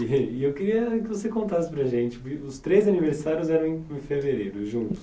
E e eu queria que você contasse para gente, porque os três aniversários eram em em fevereiro, juntos.